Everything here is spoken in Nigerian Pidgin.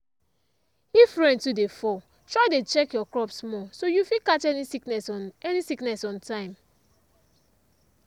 if rain too dey fall try dey check your crops more so you fit catch any sickness on any sickness on time.